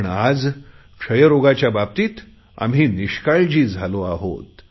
पण आज क्षयरोगाच्या बाबतीत आम्ही निष्काळजी झाली आहोत